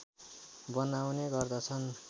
बनाउने गर्दछन्